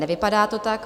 Nevypadá to tak.